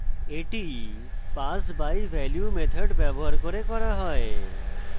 এটি pass by value method ব্যবহার করে করা হয়